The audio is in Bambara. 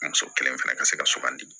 Muso kelen fana ka se ka sugandi